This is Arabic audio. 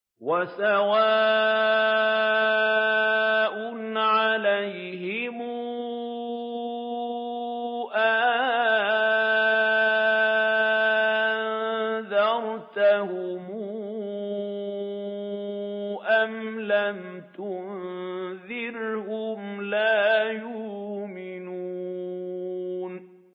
وَسَوَاءٌ عَلَيْهِمْ أَأَنذَرْتَهُمْ أَمْ لَمْ تُنذِرْهُمْ لَا يُؤْمِنُونَ